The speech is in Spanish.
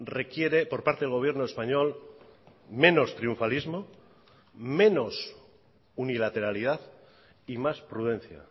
requiere por parte del gobierno español menos triunfalismo menos unilateralidad y más prudencia